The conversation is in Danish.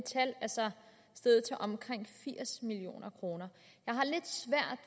steget til omkring firs million kroner